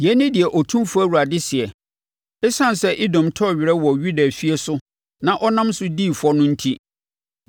“Yei ne deɛ Otumfoɔ Awurade seɛ: ‘Esiane sɛ Edom tɔɔ werɛ wɔ Yuda efie so na ɔnam so dii fɔ no enti,